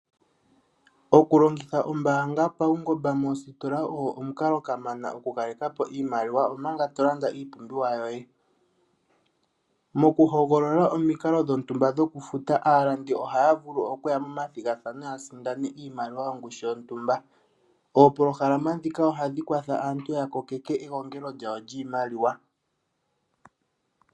Okulongitha ombaanga paungomba moositola ogo omukalo kamana okukalekapo iimaliwa omanga to Landa iipumbiwa yoye mokuhogolola omikalo dhontumba dhokufuta aayakulwa ohaa vulu naasindani iimaliwa yongushu yontumba oopolohalama dhika ohadhi kwathele aantu opo ya thikameke iimaliwa